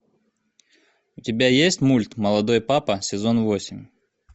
у тебя есть мульт молодой папа сезон восемь